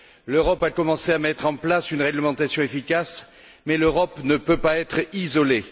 L'Europe a commencé à mettre en place une réglementation efficace, mais elle ne peut pas être isolée.